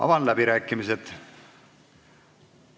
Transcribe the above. Avan läbirääkimised.